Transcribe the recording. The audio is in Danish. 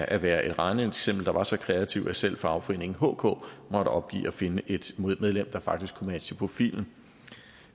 at være et regneeksempel der var så kreativt at selv fagforeningen hk måtte opgive at finde et medlem der faktisk kunne matche profilen